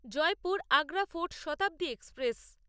Jaipur Agra Fort Shatabdi express